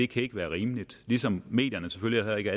kan ikke være rimeligt ligesom medierne selvfølgelig heller ikke